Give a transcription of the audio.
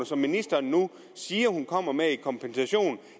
som ministeren nu siger hun kommer med i kompensation